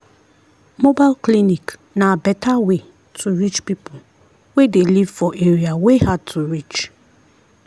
mobile clinic na better way to reach people wey dey live for area wey hard to reach.